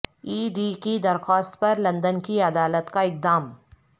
ای D کی درخواست پر لندن کی عدالت کا اقدام